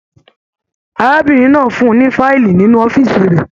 Arábìnrin náà fún ní fiili nínú ọ̀fiísí rẹ.